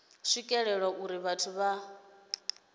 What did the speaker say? u swikelelwa uri vhathu vhohe